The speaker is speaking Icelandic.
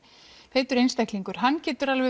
feitur einstaklingur hann getur alveg